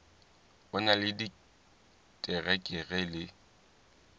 o na le diterekere le